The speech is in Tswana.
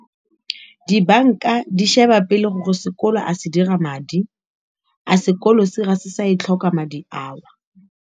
Di-bank-a di sheba pele gore sekolo a se dira madi a sekolo serious sa e tlhoka madi ao.